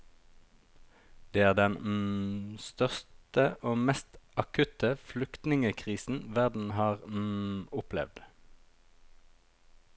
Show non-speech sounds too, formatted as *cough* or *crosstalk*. Det er den *hesitation* største og mest akutte flyktningekrisen verden har *hesitation* opplevd.